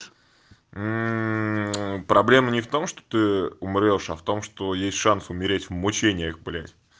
проблема не в том что ты умрёшь а в том что есть шанс умереть в мучениях блядь